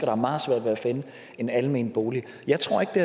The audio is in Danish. har meget svært ved at finde en almen bolig jeg tror ikke det